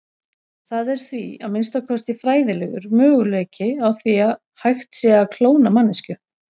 Það er því, að minnsta kosti fræðilegur, möguleiki á því hægt sé að klóna manneskju.